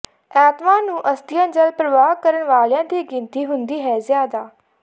ਐਤਵਾਰ ਨੂੰ ਅਸਤੀਆਂ ਜਲ ਪ੍ਰਵਾਹ ਕਰਨ ਵਾਲਿਆਂ ਦੀ ਗਿਣਤੀ ਹੁੰਦੀ ਹੈ ਜ਼ਿਆਦਾ